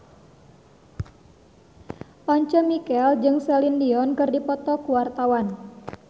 Once Mekel jeung Celine Dion keur dipoto ku wartawan